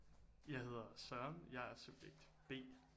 Jeg hedder Søren jeg er subjekt B